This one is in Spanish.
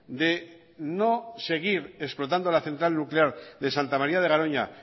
de no seguir explotando la central nuclear de santa maría de garoña